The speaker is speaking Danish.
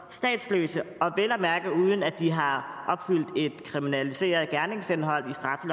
statsløse og vel at mærke uden at de har opfyldt et kriminaliseret gerningsindhold